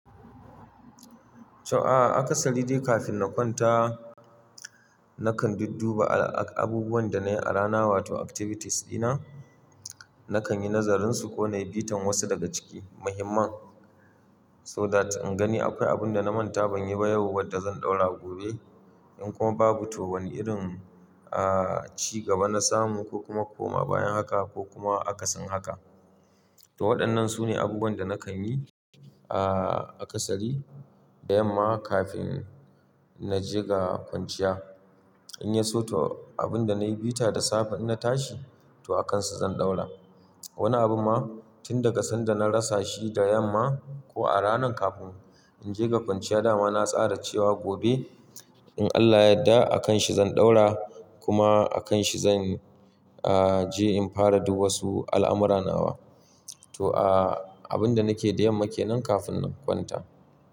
To, aa aka sari dai kafin na kwanta nakan dudduba abubuwan da na yi a rana wato activities dina. Nakan yi nazarinsu ko na yi bitan wasu daga ciki muhimman so that in gani akwai abin da na manta ban yi ba yau wadda zan ɗaura gobe. In kuma babu to wani irin, ah, cigaba na samu ko kuma koma bayan haka ko kuma akasin haka. To wadan nan sune abubuwan da nakan yi aa akasari da yamma kafin naje ga kwanciya in yeso to abin da na yi bita da safe ina tashi to akansa zan ɗaura. Wani abu ma tun daga sanda na rasa shi da yamma ko a ranan kafin in je ga kwanciya dama na tsara cewa gobe in Allah ya yadda akanshi zan ɗaura kuma akanshi zan, ah, je in fara du wasu al'amura nawa. To, ah, abin da nake da yamma ke nan kafin na kwanta.